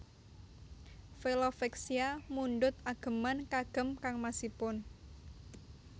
Velove Vexia mundhut ageman kagem kangmasipun